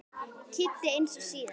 Kidda eins og síðast.